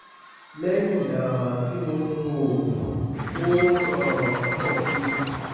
lẹ́yìn um tí mo mu oògùn ó um ń pọ̀ sí i